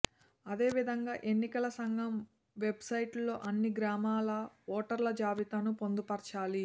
అదే విధంగా ఎన్నికల సంఘం వెబ్సైట్లో అన్ని గ్రామాల ఓటర్ల జాబితాను పొందుపరచాలి